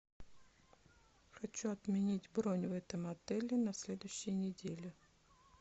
хочу отменить бронь в этом отеле на следующей неделе